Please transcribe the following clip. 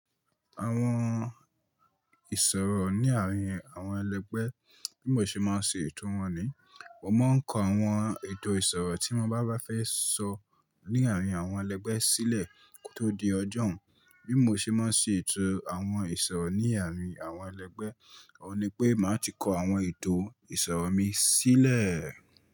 Àwọn ìsọ̀rọ̀ ní àárín àwọn ẹlẹgbẹ́, bí mo ṣe máa ń ṣe ètò wọn ni, mo máa ń kọ àwọn ètò ìsọ̀rọ̀ tí mo bá fẹ́ sọ ní àárín àwọn ẹlẹgbẹ́ sílẹ̀ kó tó di ọjọ́ún. Bí mo ṣe máa ń ṣe ètò àwọn ìsọ̀rọ̀ ní àárín àwọn ẹlẹgbẹ́, òun ni pé màá ti kọ àwọn ètò ìsọ̀rọ̀ mi sílẹ̀.